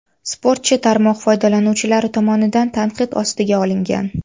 Sportchi tarmoq foydalanuvchilari tomonidan tanqid ostiga olingan.